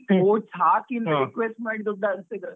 Votes ಹಾಕಿ request ಮಾಡಿ, ದುಡ್ಡು ಹಂಚ್ತಿದ್ರಂತೆ.